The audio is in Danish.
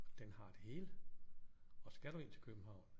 Den har det hele og skal du ind til København